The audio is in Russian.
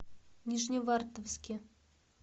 нижневартовске